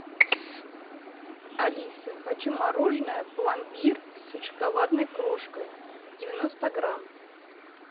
алиса хочу мороженое пломбир с шоколадной крошкой девяносто грамм